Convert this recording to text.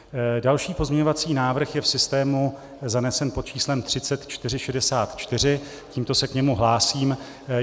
Další pozměňovací návrh je v systému zanesen pod číslem 3464, tímto se k němu hlásím.